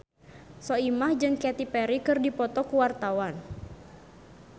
Soimah jeung Katy Perry keur dipoto ku wartawan